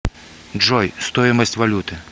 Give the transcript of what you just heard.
джой стоимость валюты